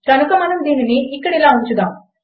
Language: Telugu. కనుక మనం దీనిని ఇక్కడ ఇలా ఉంచుదాము